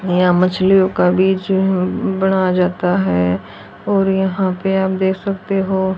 यहां मछलियों का बीज बनाया जाता है और यहां पे आप दे सकते हो--